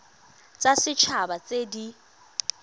tsa set haba tse di